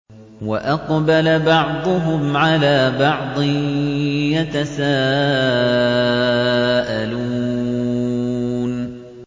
وَأَقْبَلَ بَعْضُهُمْ عَلَىٰ بَعْضٍ يَتَسَاءَلُونَ